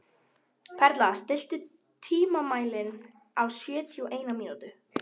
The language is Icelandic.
Perla, stilltu tímamælinn á sjötíu og eina mínútur.